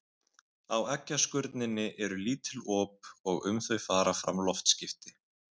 Á eggjaskurninni eru lítil op og um þau fara fram loftskipti.